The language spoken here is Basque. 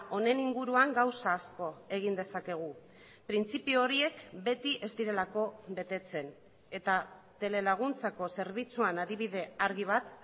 honen inguruan gauza asko egin dezakegu printzipio horiek beti ez direlako betetzen eta tele laguntzako zerbitzuan adibide argi bat